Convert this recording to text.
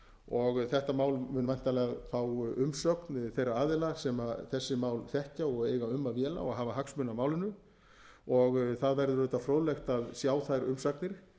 og þetta mál mun væntanlega fá umsögn þeirra aðila sem þessi mál þekkja og eiga um að véla og hafa hagsmuni af málinu það verður auðvitað fróðlegt að sjá þær umsagnir